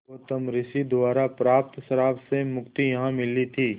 गौतम ऋषि द्वारा प्राप्त श्राप से मुक्ति यहाँ मिली थी